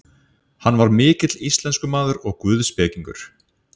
Sigríður: Hefur þú séð verðið svona hátt áður?